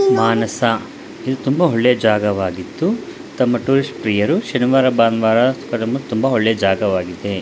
ಮಾನಸ ಇದು ತುಂಬಾ ಒಳ್ಳೆ ಜಾಗವಾಗಿದ್ದು ತಮ್ಮ ಟೂರಿಸ್ಟ್ ಪ್ರಿಯರು ಶನಿವಾರ ರವಿವಾರ ಬರಲು ತುಂಬಾ ಒಳ್ಳೆಯ ಜಾಗವಾಗಿದೆ.